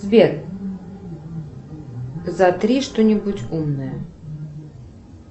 сбер затри что нибудь умное